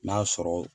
N'a sɔrɔ